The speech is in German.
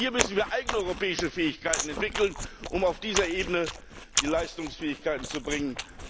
Hier müssen wir eigene europäische Fähigkeiten entwickeln, um auf dieser Ebene die Leistungsfähigkeiten zu bringen.